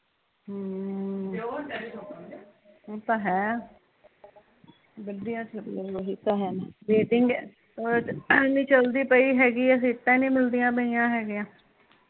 ਹਮ , ਓਹ ਤਾਂ ਹੈ ਵੈਟਿੰਗ ਉਹਦੇ ਚ ਚਲਦੀ ਪਈ ਹੈਗੀ ਸੀਟਾਂ ਨੀ ਮਿਲਦੀਂਆ ਪਈਆ ਹੈਗੀਆ